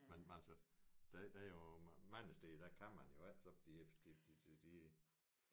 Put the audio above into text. Men altså der der jo mange steder der kan man jo ikke de de de de